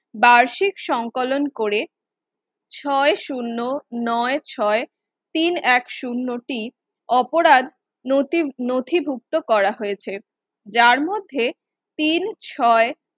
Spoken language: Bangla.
বার্ষিক সংকলন করে ছয় শুন্য নয় ছয় তিন এক শুন্য তিন অপরাধ নথি নথি ভুক্ত করা হয়েছে। যার মধ্যে তিন ছয়